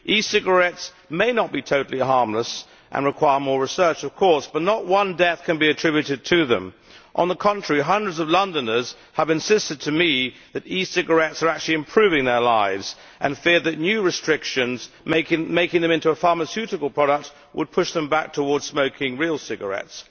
E cigarettes may not be totally harmless and require more research, of course, but not one death can be attributed to them. On the contrary, hundreds of Londoners have insisted to me that e cigarettes are actually improving their lives, and fear that new restrictions making them into a pharmaceutical product would push them back towards smoking real cigarettes.